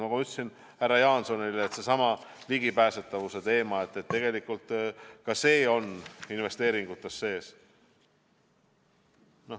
Nagu ma ütlesin härra Jaansonile, ka seesama ligipääsetavuse teema kajastub tegelikult investeeringutes.